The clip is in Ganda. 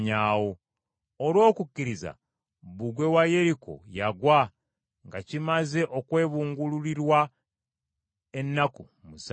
Olw’okukkiriza, bbugwe wa Yeriko yagwa nga kimaze okwebungululirwa ennaku musanvu.